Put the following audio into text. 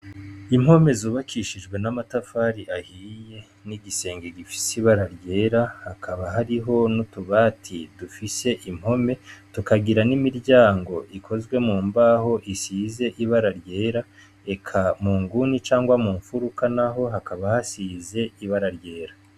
Impome zubakishijwe n'amatafari ahiye n'igisenge gifise ibara ryera hakaba hariho n'utubati dufise impome tukagira n'imiryango ikozwe mu mbaho isize ibara ryera, eka mu nguni canke mu mfuruka naho hakaba hasize ibara ryera.